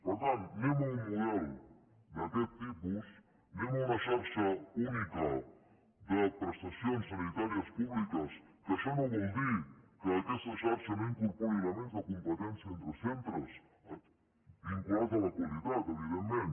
per tant anem a un model d’aquest tipus anem a una xarxa única de prestacions sanitàries públiques que això no vol dir que aquesta xarxa no incorpori elements de competència entre centres vinculats a la qualitat evidentment